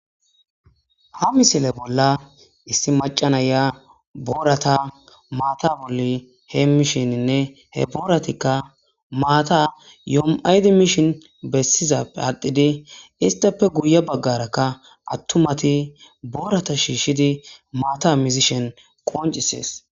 Ha misile bolla issi macanaya boorata maata bolli hee mishininne he booratikka maata yom7aydi mishin bessizappe aadhdhidi istapfe guye baggarakka attumati boorata shiishshidi maata muzishen qoncisees